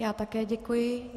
Já také děkuji.